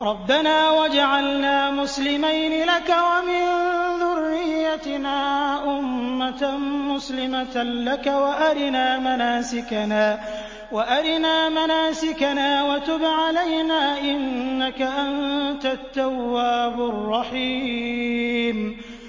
رَبَّنَا وَاجْعَلْنَا مُسْلِمَيْنِ لَكَ وَمِن ذُرِّيَّتِنَا أُمَّةً مُّسْلِمَةً لَّكَ وَأَرِنَا مَنَاسِكَنَا وَتُبْ عَلَيْنَا ۖ إِنَّكَ أَنتَ التَّوَّابُ الرَّحِيمُ